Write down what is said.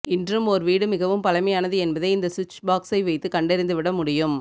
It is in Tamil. இன்றும் ஓர் வீடு மிகவும் பழமையானது என்பதை இந்த சுவிட்ச் பாக்ஸை வைத்து கண்டறிந்துவிட முடியும்